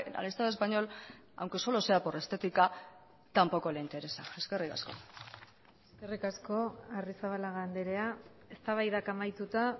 al estado español aunque solo sea por estética tampoco le interesa eskerrik asko eskerrik asko arrizabalaga andrea eztabaidak amaituta